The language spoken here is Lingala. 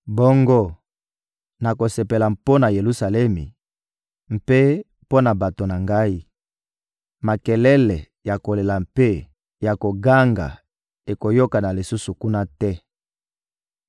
Bongo nakosepela mpo na Yelusalemi mpe mpo na bato na Ngai; makelele ya kolela mpe ya koganga ekoyokana lisusu kuna te.